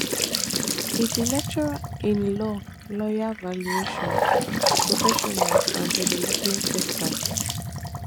e be lecturer in law lawyer valuation professional and development expert